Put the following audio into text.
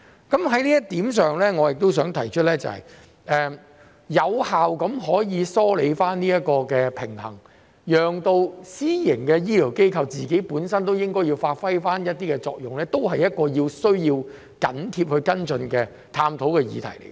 就此，我想提出的是，有效地梳理這方面的平衡，讓私營醫療機構發揮本身應有的作用，也是一項需要密切跟進和探討的議題。